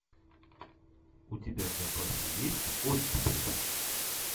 у тебя в запасе есть оттепель